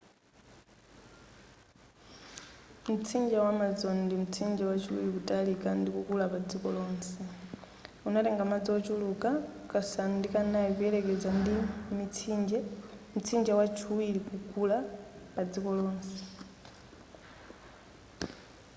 mtsinje wa amazon ndi mtsinje wachiwiri kutalika ndi kukula pa dziko lonse umatenga madzi ochuluka kasanu ndi kanayi kuyelekeza ndi mtsinje wa chiwiriri kukula pa dziko lonse